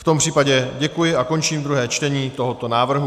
V tom případě děkuji a končím druhé čtení tohoto návrhu.